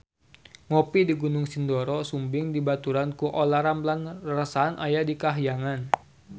Ngopi di Gunung Sindoro Sumbing dibaturan ku Olla Ramlan rarasaan aya di kahyangan